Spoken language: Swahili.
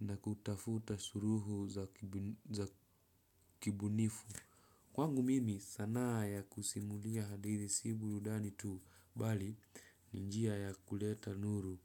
na kutafuta suluhu za kibunifu. Kwangu mimi sanaa ya kusimulia hadithi si burudani tuu bali ni njia ya kuleta nuru.